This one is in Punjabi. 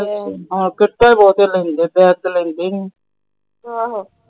ਕਿੱਟਾ ਬਹੁਤੇ ਲੈਂਦੇ ਬੈਗ ਤਾਂ ਹੁਣ ਲੈਂਦੇ ਈ ਨਹੀਂ।